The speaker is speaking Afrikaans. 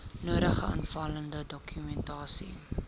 nodige aanvullende dokumentasie